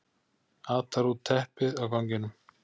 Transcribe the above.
Atar út teppið á ganginum.